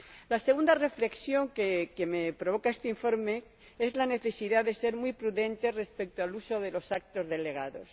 La segunda reflexión que me provoca este informe es la necesidad de ser muy prudentes respecto al uso de los actos delegados.